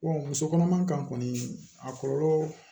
musokɔnɔma kan kɔni a kɔlɔlɔ